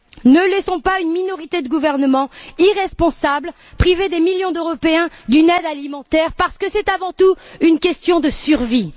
Ne laissons pas une minorité de gouvernements irresponsables priver des millions d'Européens d'une aide alimentaire parce que c'est, avant tout, une question de survie.